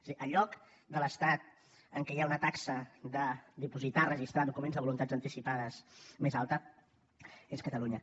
és a dir el lloc de l’estat en què hi ha una taxa de dipositar registrar documents de voluntats anticipades més alta és catalunya